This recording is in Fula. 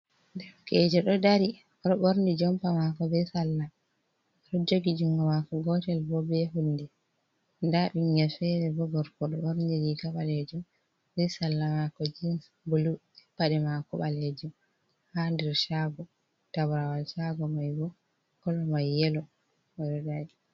Derkeje ɗo dari ɗo borni jompa mako be salla ɗo jogi jungo mako gotel bo be hunde dabinnya fere bogorko do dorniri kabalejum be salla mako jen bulu je pade mako balejum ha dir chago tabrawal chago mai bo kolo mai yelo ododaji.